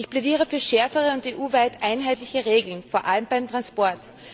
Ich plädiere für schärfere und EU weit einheitliche Regeln, vor allem beim Transport.